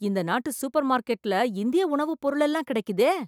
இந்த நாட்டு சூப்பர்மார்க்கெட்ல இந்திய உணவுப் பொருளெல்லாம் கிடைக்குதே!